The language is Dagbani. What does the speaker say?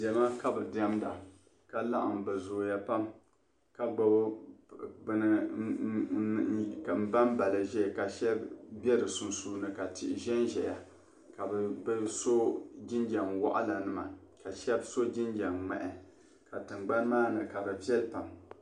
Diɛma ka diɛmda ka laɣim bɛ zooya pam ka gbibi bini m-bamba li ʒia ka shɛba be di sunsuuni ka tihi zanzaya bɛ so jinjam waɣila ka shɛba so jinjam ŋmahi ka tiŋgbani maa ni piɛli pam.